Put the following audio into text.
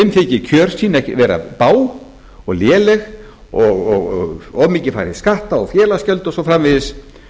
þyki kjör sín vera bág og léleg og of mikið fari í skatta og félagsgjöld og svo framvegis